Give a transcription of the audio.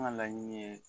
An ka laɲini ye